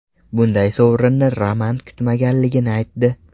Bunday sovrinni Roman kutmaganligini aytdi.